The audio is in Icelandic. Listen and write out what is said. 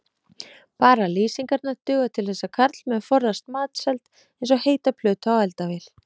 Bara lýsingarnar duga til þess að karlmenn forðast matseld eins og heita plötu á eldavél.